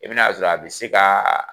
I bɛn'a sɔ a be se kaa